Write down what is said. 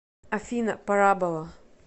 афина парабола